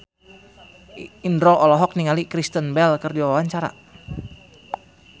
Indro olohok ningali Kristen Bell keur diwawancara